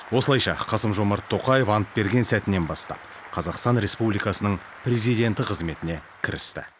осылайша қасым жомарт тоқаев ант берген сәтінен бастап қазақстан республикасының президенті қызметіне кірісті